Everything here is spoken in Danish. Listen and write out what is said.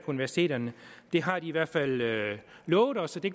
universiteterne de har i hvert fald lovet os at de